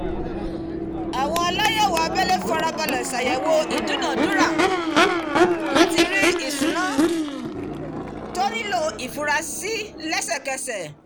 àwọn aláyẹ̀wò abẹlé farabalẹ̀ ṣàyẹ̀wò àkọsílẹ̀ ìdúnadúrà láti rí ìṣúná tó nílò ìfura sí lẹ́sẹ̀kẹsẹ̀